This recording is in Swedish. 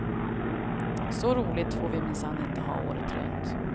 Så roligt får vi minsann inte ha året runt.